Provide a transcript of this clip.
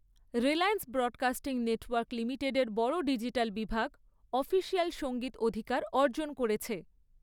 Reliance broadcasting network লিমিটেডের বড় digital বিভাগ অফিসিয়াল সঙ্গীত অধিকার অর্জন করেছে।